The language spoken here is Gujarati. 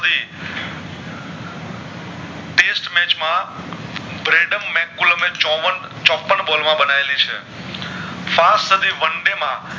match માં બ્રેડમ મેકુલુમ ચોવન ચોપન બોલ માં બનાયેલી છે fast સાદી one day માં